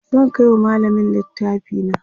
zan Kai wa mallamin littafi na